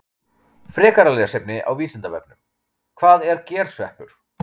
Frekara lesefni á Vísindavefnum: Hvað er gersveppur?